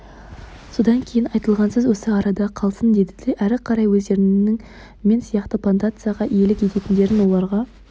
содан кейін айтылған сөз осы арада қалсын деді де әрі қарай өздерінің мен сияқты плантацияға иелік ететіндерін оларға